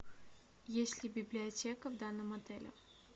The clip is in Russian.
есть ли библиотека в данном отеле